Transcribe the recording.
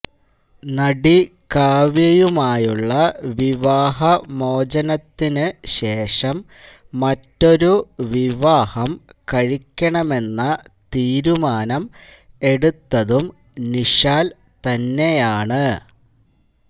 നടി കാവ്യയുമായുള്ള വിവാഹമോചനത്തിന് ശേഷം മറ്റൊരു വിവാഹം കഴിക്കണമെന്ന തീരുമാനം എടുത്തതും നിഷാല് തന്നെയാണ്